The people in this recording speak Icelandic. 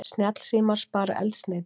Snjallsímar spara eldsneyti